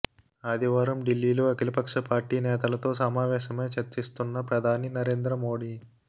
ఆదివారం ఢిల్లీలో అఖిలపక్ష పార్టీ నేతలతో సమావేశమై చర్చిస్తున్న ప్రధాని నరేంద్ర మోదీ